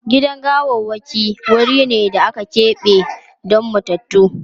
Gidan gawarwaki wuri ne da aka keɓe don matattu.